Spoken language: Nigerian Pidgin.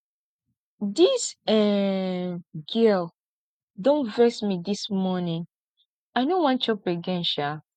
dis um girl don vex me dis morning i no wan chop again um